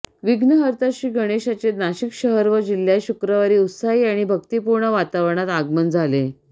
विघ्नहर्ता श्री गणेशाचे नाशिक शहर व जिल्ह्यात शुक्रवारी उत्साही आणि भक्तिपूर्ण वातावरणात आगमन झाले